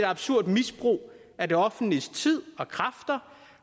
absurd misbrug af det offentliges tid og kræfter